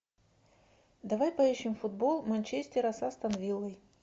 давай поищем футбол манчестера с астон виллой